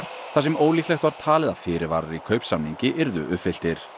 þar sem ólíklegt var talið að fyrirvarar í kaupsamningi yrðu uppfylltir